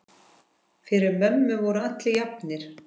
Fyrir mömmu voru allir jafnir.